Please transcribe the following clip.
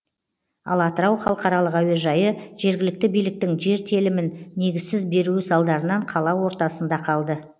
ал атырау халықаралық әуежайы жергілікті биліктің жер телімін негізсіз беруі салдарынан қала ортасында қалды